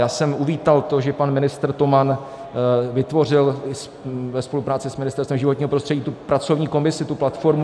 Já jsem uvítal to, že pan ministr Toman vytvořil ve spolupráci s Ministerstvem životního prostředí tu pracovní komisi, tu platformu.